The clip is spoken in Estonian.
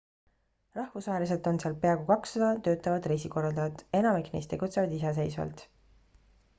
rahvusvaheliselt on seal peaaegu 200 töötavat reisikorraldajat enamik neist tegutsevad iseseisvalt